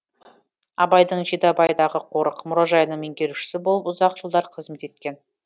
абайдың жидебайдағы қорық мұражайының меңгерушісі болып ұзақ жылдар қызмет еткен